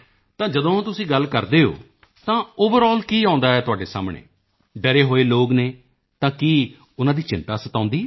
ਤਾਂ ਜਦੋਂ ਤੁਸੀਂ ਗੱਲ ਕਰਦੇ ਹੋ ਤਾਂ ਓਵਰਲ ਕੀ ਆਉਂਦਾ ਹੈ ਤੁਹਾਡੇ ਸਾਹਮਣੇ ਡਰੇ ਹੋਏ ਲੋਕ ਹਨ ਤਾਂ ਕੀ ਉਨ੍ਹਾਂ ਦੀ ਚਿੰਤਾ ਸਤਾਉਂਦੀ ਹੈ